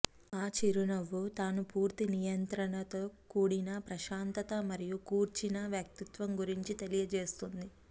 ఆ చిరునవ్వు తాను పూర్తి నియంత్రణతో కూడిన ప్రశాంతత మరియు కూర్చిన వ్యక్తిత్వం గురించి తెలియజేస్తుంది